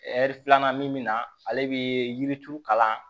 filanan min mi na ale be yirituru kalan